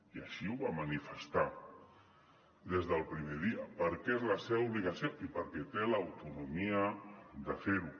i així ho va manifestar des del primer dia perquè és la seva obligació i perquè té l’autonomia de fer ho